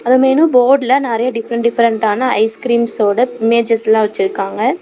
அந்த மெனு போர்டுல நெரிய டிபரெண்ட் டிபரெண்டான ஐஸ்கிரீம்ஸ் ஒட இமேஜ்ஜஸ்லா வெச்சுருக்காங்க.